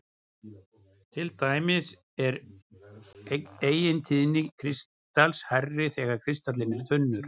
Til dæmis er eigintíðni kristals hærri þegar kristallinn er þunnur.